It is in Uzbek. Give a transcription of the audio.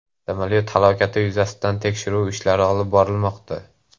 Samolyot halokati yuzasidan tekshiruv ishlari olib borilmoqda.